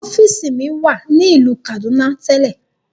Ọfiisi mi wa ni ilu Kaduna telẹ.